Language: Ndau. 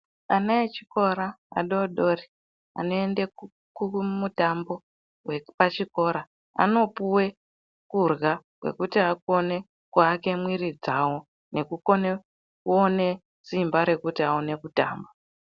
Ana echikora adodori anoende kumutambo vepachikora. Anopuve kurya kwekuti vakone kuvake mwiri dzavo nekukone kuone simba rekuti aone kutamba.